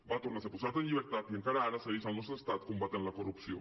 va tornar a ser posat en llibertat i encara ara segueix al nostre estat combatent la corrupció